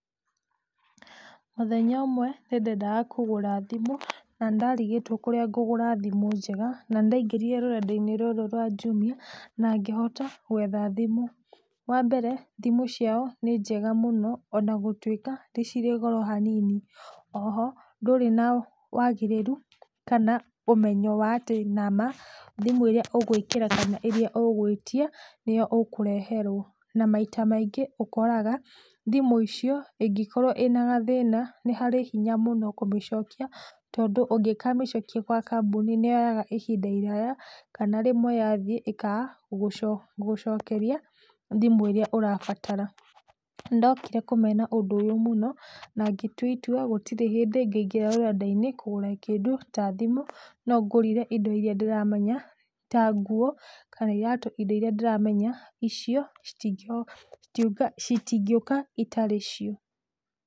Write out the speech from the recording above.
Mũthenya ũmwe nĩndendaga kũgũra thimũ, na nĩndarigĩtwo kũrĩa ngũgũra thimũ njega, na nĩndaingĩrire rũrendainĩ rũrũ rwa Jumia, na ngĩhota gwetha thimũ. Wambere, thimũ ciao nĩ njega mũno, ona gũtuika nĩcirĩ goro hanini. Oho ndũrĩ na wagĩrĩru, kana ũmenyo wa atĩ nama thimũ ĩrĩa ũgwĩkĩra kana ĩria ũgwĩtia nĩyo ũkũreherwo na maita maingĩ ũkoraga thimũ icio, ingĩkorwo ĩnagathina, nĩharĩ hinya mũno kũmĩcokia, tondũ ungĩkamĩcokia gwa kambunĩ nĩyoyaga ihinda iraya, kana rĩmwe yathiĩ ĩkaga gũco gũcokeria thimũ ĩria ũrabatara. Nĩndokire kũmena ũndũ ũyũ mũno, nangĩtua itua gũtirĩ hindĩ ingĩingĩra rũrendainĩ kũgũra kĩndũ ta thimũ, nongũrire indo iria ndĩramenya, ta nguo, kana iratu. Indo iria ndĩramenya icio citi citingĩuka itarĩ cio.